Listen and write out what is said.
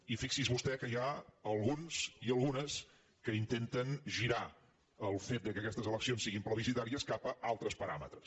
i fixi’s vostè que n’hi ha alguns i algunes que intenten girar el fet que aquestes eleccions siguin plebiscitàries cap a altres paràmetres